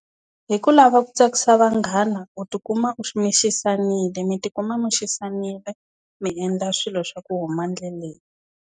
Hi ku lava ku tsakisa vanghana u ti kuma u mi xisanile mi ti kuma mi xisanile, mi endla swilo swa ku huma ndleleni.